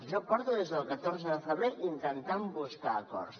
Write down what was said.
jo porto des del catorze de febrer intentant buscar acords